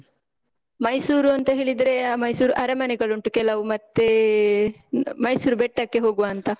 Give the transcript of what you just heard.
ಮೈಸೂರು ಅಂತ ಹೇಳಿದ್ರೇ, ಆ ಮೈಸೂರ್ ಅರಮನೆಗಳುಂಟು ಕೆಲವು, ಮತ್ತೇ ಹ್ಮ್ ಮೈಸೂರ್ ಬೆಟ್ಟಕ್ಕೆ ಹೋಗುವಾಂತ.